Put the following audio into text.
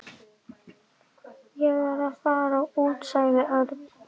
Ég á ekki bréf í þínu há effi.